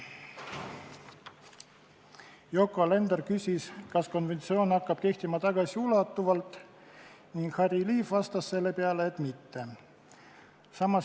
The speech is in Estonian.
Yoko Alender küsis, kas konventsioon hakkab kehtima tagasiulatuvalt, Harry Liiv vastas, et mitte.